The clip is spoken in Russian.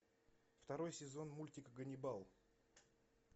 второй сезон мультика ганнибал